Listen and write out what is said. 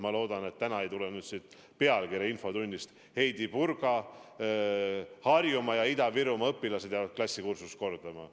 Ma loodan, et täna ei tule nüüd infotunnist pealkirja "Heidy Purga: Harjumaa ja Ida-Virumaa õpilased jäävad klassikursust kordama".